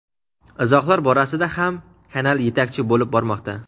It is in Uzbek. izohlar borasida ham kanal yetakchi bo‘lib bormoqda.